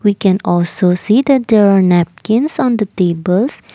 we can also see that they are napkins on the tables.